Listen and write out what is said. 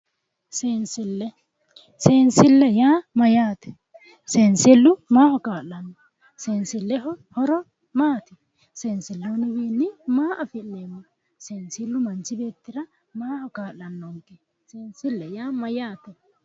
Seensille seensille yaa mayyaate seensillu maaho kaa'lanno seensilleho horo maati seenslluwiinni maa afi'nanni seensillu manchi beettira maaho kaa'lannonke seensille yaa mayyaate